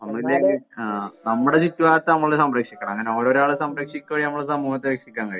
അതെ നമ്മളിനി ആഹ് നമ്മുടെ ചുറ്റുഭാഗത്തെ നമ്മള് സംരക്ഷിക്കണം അങ്ങനെ ഓരോരോ ആളെ സംരക്ഷിക്കുമ്പോ നമ്മളെ സമൂഹത്തെ രക്ഷിക്കാൻ കഴിയും.